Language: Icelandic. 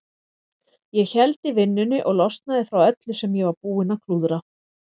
Ég héldi vinnunni og losnaði frá öllu sem ég var búinn að klúðra.